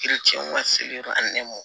ani